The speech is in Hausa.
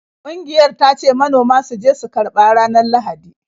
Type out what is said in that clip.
Ƙungiyar ta ce manoma su je su karba ranar Lahadi.